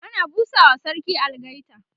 ana busawa sarki algaita